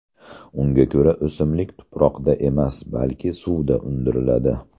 Unga ko‘ra, o‘simlik tuproqda emas, balki suvda undiriladi.